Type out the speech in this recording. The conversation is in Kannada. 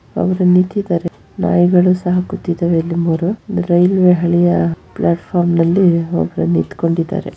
ಅವರು ನಿಂತಿದ್ದಾರೆ ನಾಯಿಗಳು ಸಹ ಕುತ್ತಿದ್ದಾರೆ ಒಂದು ಮೂರು ರೈಲ್ವೆ ಬಳಿಯ ಪ್ಲಾಟ್ಫಾರ್ಮ್ ಅಲ್ಲಿ ನಿಂತ್ಕೊಂಡಿದ್ದಾರೆ --